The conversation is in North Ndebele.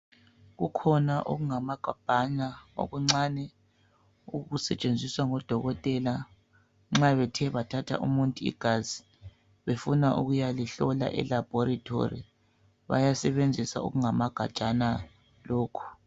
Kukhona okungamagabhana okuncane. Okusetshenziswa ngodokotela. Nxa bethe bathatha umuntu igazi, befuna ukuyalihlola elaboratory. Bayasebenzisa okungamagajana lokhu.